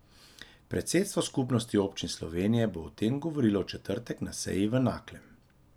Predsedstvo Skupnosti občin Slovenije bo o tem govorilo v četrtek na seji v Naklem.